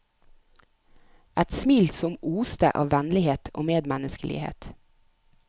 Et smil som oste av vennlighet og medmenneskelighet.